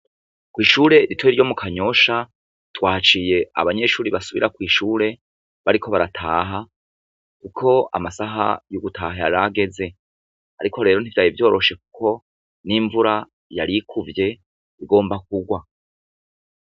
Kw'ishure rito ryo mu Kanyosha, twahaciye abanyeshure basubira ku ishure bariko barataha, kuko amasaha yo gutaha yaraheze. Ariko rero nti vyari vyoroshe kuko n'imvura yari kuvye igomba kurwa.